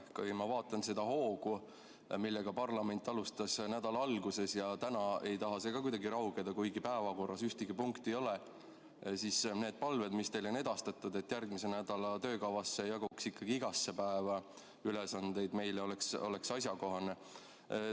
Kui ma vaatan seda hoogu, millega parlament alustas nädala alguses – ja täna ei taha see ka kuidagi raugeda, kuigi päevakorras ühtegi punkti ei ole –, siis need palved, mis teile on edastatud, et järgmise nädala töökavasse jaguks ikkagi igasse päeva ülesandeid meile, on asjakohased.